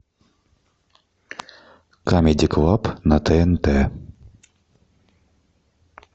камеди клаб на тнт